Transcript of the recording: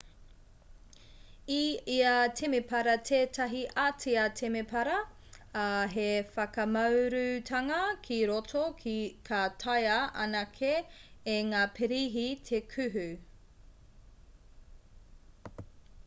i ia temepara tētahi ātea temepara ā he whakamaurutanga ki roto ka taea anake e ngā pirihi te kuhu